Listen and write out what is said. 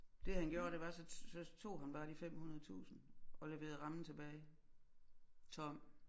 Det han gjorde det var så så tog han bare de 500000 og leverede rammen tilbage tom